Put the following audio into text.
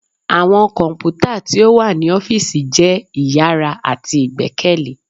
Awọn kọnputa ti o wa ni ọfiisi jẹ iyara ati igbẹkẹle.